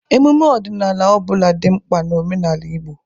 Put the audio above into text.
Emume ọdịnala ọ bụla dị mkpa n'omenala Igbo.